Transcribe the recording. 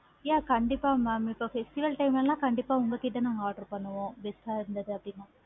yeah கண்டிப்பா mam festival time ல கண்டிப்பா உங்க கிட்ட நானாக order பண்ணுவோம் இருந்தது அப்படினா